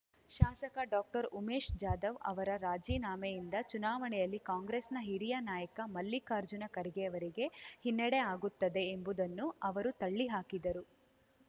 ಶಾಸಕ ಡಾಕ್ಟರ್ ಉಮೇಶ್ ಜಾಧವ್ ಅವರ ರಾಜೀನಾಮೆಯಿಂದ ಚುನಾವಣೆಯಲ್ಲಿ ಕಾಂಗ್ರೆಸ್‌ನ ಹಿರಿಯ ನಾಯಕ ಮಲ್ಲಿಕಾರ್ಜುನ ಖರ್ಗೆಯವರಿಗೆ ಹಿನ್ನಡೆ ಆಗುತ್ತದೆ ಎಂಬುದನ್ನು ಅವರು ತಳ್ಳಿ ಹಾಕಿದರು